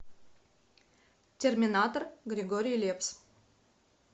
терминатор григорий лепс